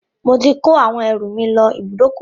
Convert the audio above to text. Mo ti ko àwọn ẹrù mi lọ ibùdókọ̀